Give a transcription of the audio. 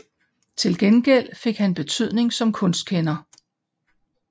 Til gengæld fik han betydning som kunstkender